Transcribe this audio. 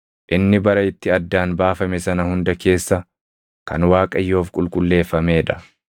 Inni bara itti addaan baafame sana hunda keessa kan Waaqayyoof qulqulleeffamee dha.